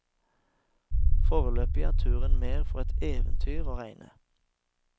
Foreløpig er turen mer for et eventyr å regne.